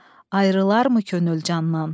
Ayrılarmı könül candan?